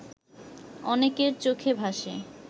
অনেকের চোখে ভাসে